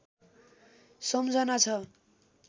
सम्झना छ